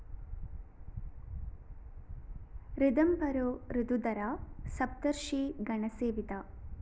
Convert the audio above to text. ഋതംഭരോ ഋതുധരഃ സപ്തര്‍ഷി ഗണസേവിതഃ